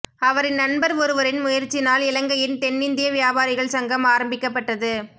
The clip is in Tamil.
அவரின் நண்பர் ஒருவரின் முயற்சினால் இலங்கையின் தென்னிந்திய வியாபாரிகள் சங்கம் ஆரம்பிக்கப்பட்டது